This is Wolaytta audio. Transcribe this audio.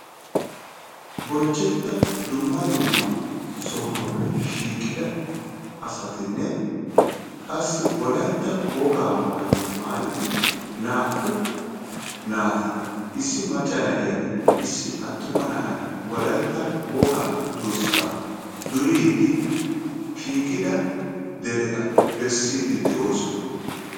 Bonchchettida dumma dumma sohuwaappe shiiqida asatinne qassi Wolaytta wogaa maayuwa maayidi naa"u naati, issi macca na"iyanne issi attuma na"ay Wolayta wogaa durssaa duriiddi shiiqida dereta bessiidi de'oosona.